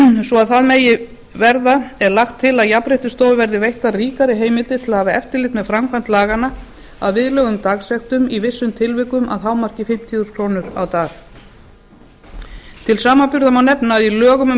svo að það megi verða er lagt til að jafnréttisstofu verði veittar ríkari heimildir til að hafa eftirlit með framkvæmd laganna að viðlögðum dagsektum í vissum tilvikum að hámarki fimmtíu þúsund krónur á dag til samanburðar má nefna að í lögum um